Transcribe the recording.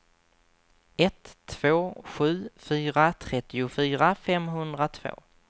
ett två sju fyra trettiofyra femhundratvå